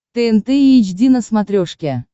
тнт эйч ди на смотрешке